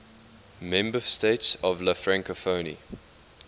member states of la francophonie